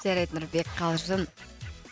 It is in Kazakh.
жарайды нұрбек қалжың